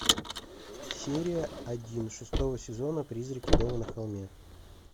серия один шестого сезона призраки дома на холме